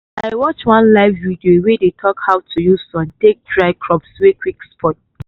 i watch one live video wey dey talk how to use sun take dry crops wey quick spoil